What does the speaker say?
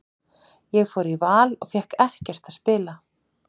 Ég fór í Val og fékk ekkert að spila.